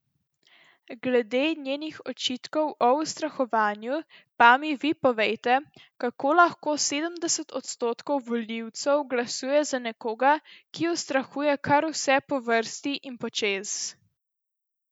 Glede njenih očitkov o ustrahovanju pa mi vi povejte, kako lahko sedemdeset odstotkov volivcev glasuje za nekoga, ki ustrahuje kar vse po vrsti in počez?